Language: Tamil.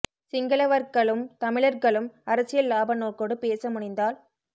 சிங்களவ்ர்கழும் தமிழர்க்ழும் அரசியல் லாப நோக்கோடு பேச முனைந்தால்